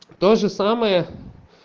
тоже самое